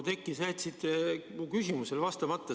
Oudekki, sa jätsid mu küsimusele vastamata.